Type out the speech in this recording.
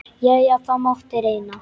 Jæja, það mátti reyna.